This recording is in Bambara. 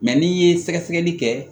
Mɛ n'i ye sɛgɛsɛgɛli kɛ